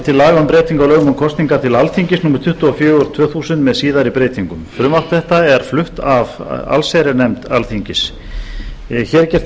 breytingu á lögum um kosningar til alþingis númer tuttugu og fjögur tvö þúsund með síðari breytingum frumvarp þetta er flutt af allsherjarnefnd alþingis hér er gert